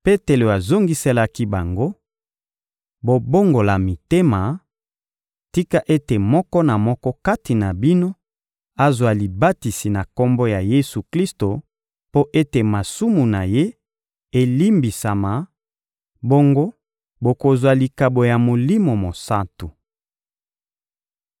Petelo azongiselaki bango: — Bobongola mitema; tika ete moko na moko kati na bino azwa libatisi na Kombo na Yesu-Klisto mpo ete masumu na ye elimbisama, bongo bokozwa likabo ya Molimo Mosantu.